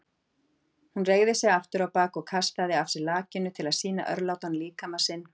Hún reigði sig afturábak og kastaði af sér lakinu til að sýna örlátan líkama sinn.